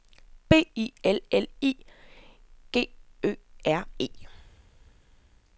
B I L L I G G Ø R E